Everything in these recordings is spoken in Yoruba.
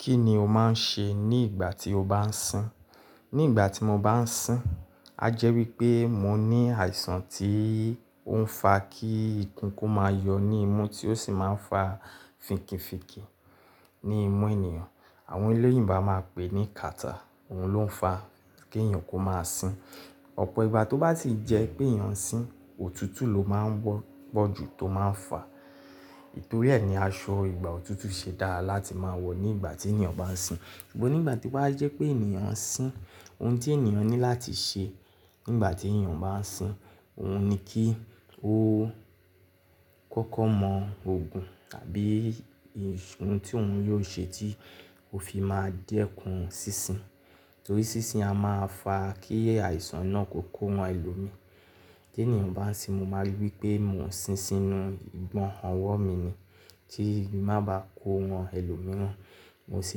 Kí ni o máa ń ṣe ní ìgbà tí o bá ń sìn? Ní ìgbà tí mo bá ń sìn, a jẹ́ wí pé mo ní àìsàn tí ó ń fa kí ikùn kú máa yọ ní imú tí ó sì máa ń fa fìnkifìnkí ní imú ènìyàn. Àwọn oloyìnbo aá máa pè ní cattarh, òun ló ń fa kí èèyàn kó máa sìn. Ọ̀pọ̀ ìgbà tó bá si jẹ́ pé èèyàn sìn, òtútù ló máa ń wọ́pọ̀ jù tó máa ń fà. Nítorí ẹ́ ni aṣọ ìgbà òtútù ṣe dára láti máa wọ̀ ní ìgbà tí èèyàn bá ń sìn. Ṣùgbọ́n nígbà to wà á jẹ́ pé èèyàn ń sìn, ohun tí èèyàn ní láti ṣe nígbà tí èèyàn bá ń sìn, òun ni kí ó kọ́kọ́ mọ òògùn tàbí ohun tí òun yóò ṣe tí ó fi máa dẹ́kun sísìn. Torí sísìn a máa fà kí àìsàn náà kò kó wọn ẹlòmíì. Tí èniyàn bá ń sìn, mo máa rí wí pé mò ń sìn sínú ìgbọ́hàn ọwọ́ mi ni. Tí mà bá kó wọn ẹlòmíì rán, mo sì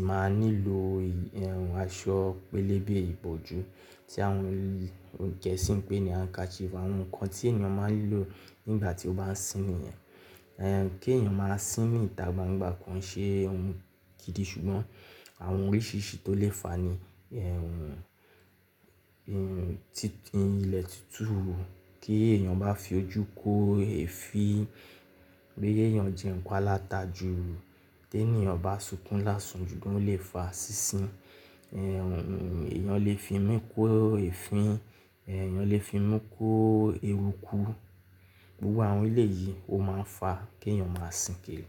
máa nílò ìhùn aṣọ pélébé ìbòjú tí àwọn gẹ̀ẹ́sì ń pè ní handkerchief. Àwọn nǹkan tí èèyàn máa ń lò nígbà tí ó bá ń sìn nìyẹn. Ẹ̀hẹn, kí èèyàn máa sìn ní ìta gbangba kò ṣe ohun gídìí ṣùgbọ́n àwọn oríṣìíríṣìí tó lè fà á ni ẹ̀hùn tí ilẹ̀ ti tú rú, kí èèyàn bá fi ojú kó èéfín, pé èèyàn jẹ nǹkan alata jù, tí èèyàn bá sunkún lásan jù oo lè fà sísìn. Ẹ̀hùn, èèyàn lè fi imú kó èéfín, èèyàn lè fi imú kó erukú. Gbogbo àwọn ilé yìí ó máa ń fà kí èèyàn máa sìn kiri.